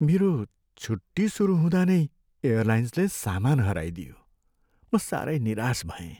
मेरो छुट्टी सुरु हँदा नै एयरलाइन्सले सामान हराइदियो। म साह्रै निराश भएँ।